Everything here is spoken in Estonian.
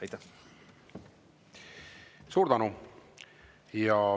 Aitäh!